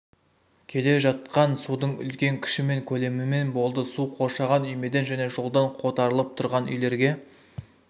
кележатқан судың үлкен күші мен көлемімен болды су қоршаған үймеден және жолдан қотарылып тұрғын үйлерге